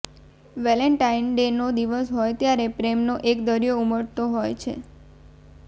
Valentine ડેનો દિવસ હોય ત્યારે પ્રેમનો એક દરિયો ઊમટતો હોય છે